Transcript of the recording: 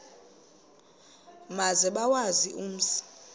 maze bawazi umzi